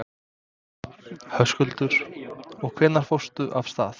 Höskuldur: Og hvenær fórstu af stað?